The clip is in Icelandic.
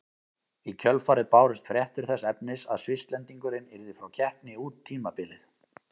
Í kjölfarið bárust fréttir þess efnis að Svisslendingurinn yrði frá keppni út tímabilið.